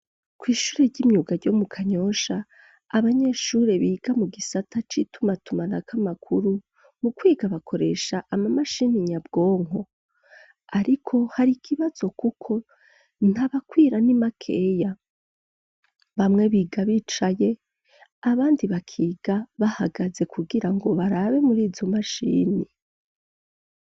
Kw'ishure ry'imyuga ryo mu Kanyosha abanyeshuri biga mu gisata c'itumatumanako amakuru, mu kwiga bakoresha amamashini nyabwonko, ariko hari ikibazo kuko ntabakwira ni makeya, bamwe biga bicaye abandi bakiga bahagaze kugira ngo barabe murizo mashini.